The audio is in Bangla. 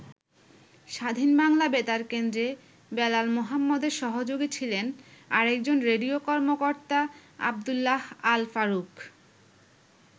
স্বাধীন বাংলা বেতার কেন্দ্রে বেলাল মোহাম্মদের সহযোগী ছিলেন আরেকজন রেডিও কর্মকর্তা আবদুল্লাহ আল-ফারুক।